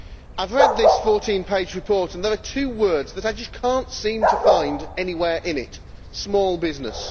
I have read this 14 page report, and there are two words that I just cannot seem to find anywhere in it small business.